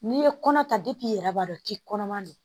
N'i ye kɔnɔ ta depi i yɛrɛ b'a dɔn k'i kɔnɔman do.